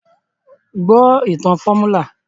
Gbọ́ ìtàn fọ́múlà!